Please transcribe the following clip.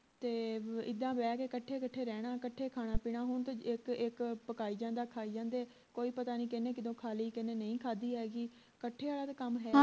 ਤੇ ਇੱਦਾਂ ਬਹਿ ਕੇ ਕੱਠੇ ਕੱਠੇ ਰਹਿਣਾ ਕੱਠੇ ਖਾਣਾ ਪੀਣਾਂ ਹੁਣ ਤੇ ਇਕ ਇਕ ਪਕਾਈ ਜਾਂਦਾ ਖਾਈ ਜਾਂਦੇ ਕੋਈ ਪਤਾ ਨਹੀਂ ਕਿਹਨੇ ਕਦੋਂ ਖਾ ਲਈ ਕੀਹਨੇ ਨਹੀਂ ਖਾਦੀ ਹੈ ਗੀ ਕੱਠੇ ਆਲਾ ਤਾਂ ਕੰਮ ਹੈਨੀ